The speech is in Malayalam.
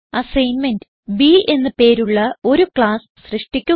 അസൈൻമെന്റ് B എന്ന് പേരുള്ള ഒരു ക്ലാസ്സ് സൃഷ്ടിക്കുക